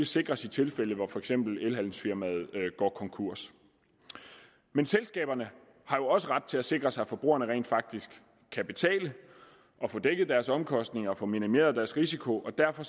sikres i tilfælde hvor for eksempel elhandelsfirmaet går konkurs men selskaberne har jo også ret til at sikre sig at forbrugerne rent faktisk kan betale og få dækket deres omkostninger og få minimeret deres risiko derfor